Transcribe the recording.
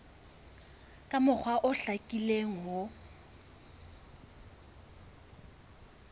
ka mokgwa o hlakileng ho